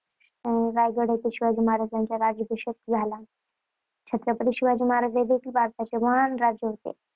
रायगड येथे शिवाजी महाराजांचा राज्याभिषेक झाला. छत्रपती शिवाजी महाराज हे भारताचे महान राजे होते.